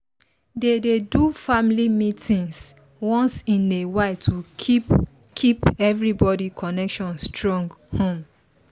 they dey do family meetings once in a while to keep keep everybody connection strong um